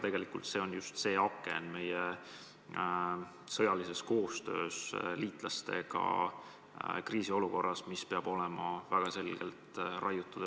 Tegelikult just see on meie sõjalises koostöös liitlastega kriisiolukorras aken Euroopasse, mis peab olema väga selgelt raiutud.